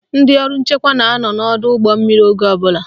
Ndị ọrụ nchekwa na-anọ n'ọdọụgbọmmiri oge ọbụla